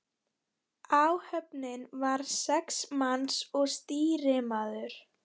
Áhöfnin var sex manns og stýrimaður.